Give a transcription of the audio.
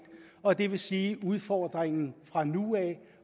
og det vil sige at udfordringen fra nu af